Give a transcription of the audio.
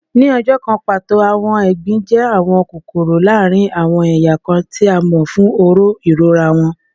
Ni ọjọ kan pato, awọn egbin jẹ awọn kokoro laarin awọn eya kan, ti a mọ fun oró irora wọn